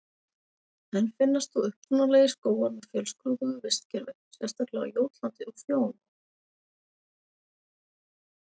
Enn finnast þó upprunalegir skógar með fjölskrúðugu vistkerfi, sérstaklega á Jótlandi og Fjóni.